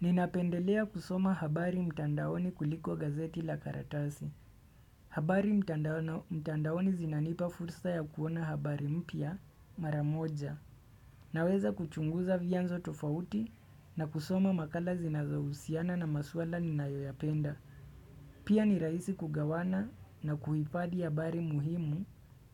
Ninapendelea kusoma habari mtandaoni kuliko gazeti la karatasi habari mtandaoni zinanipa fursa ya kuona habari mpya mara moja Naweza kuchunguza vyanzo tofauti na kusoma makala zinazohusiana na maswala ninayoyapenda Pia ni rahisi kugawana na kuhifadhi habari muhimu